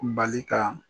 Bali ka